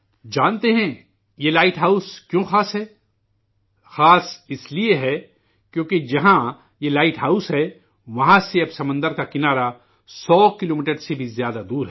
جانتے ہیں، یہ لائٹ ہاؤس کیوں خاص ہے ؟ خاص اسلئے ہے کیونکہ جہاں یہ لائٹ ہاؤس ہے، وہاں سے اب ساحل سمندر سو کلومیٹر سے بھی زیادہ دور ہے